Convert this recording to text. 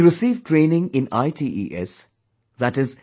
He received training in ITES i